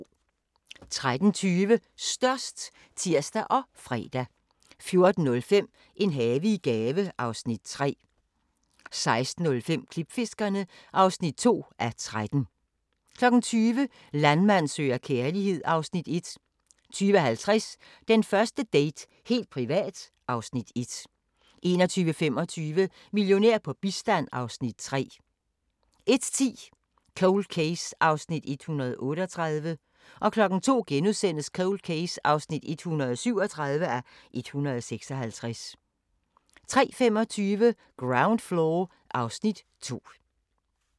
13:20: Størst (tir og fre) 14:05: En have i gave (Afs. 3) 16:05: Klipfiskerne (2:13) 20:00: Landmand søger kærlighed (Afs. 1) 20:50: Den første date - helt privat (Afs. 1) 21:25: Millionær på bistand (Afs. 3) 01:10: Cold Case (138:156) 02:00: Cold Case (137:156)* 03:25: Ground Floor (Afs. 2)